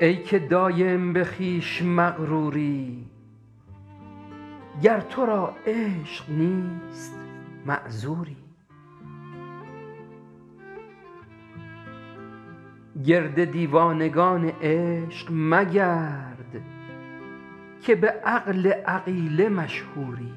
ای که دایم به خویش مغروری گر تو را عشق نیست معذوری گرد دیوانگان عشق مگرد که به عقل عقیله مشهوری